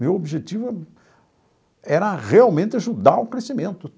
Meu objetivo era realmente ajudar o crescimento.